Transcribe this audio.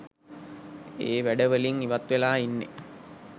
ඒ වැඩ වලින් ඉවත් වෙලා ඉන්නෙ.